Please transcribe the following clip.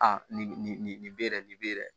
Aa nin nin nin nin nin nin nin bɛ yɛrɛ nin bɛ dɛ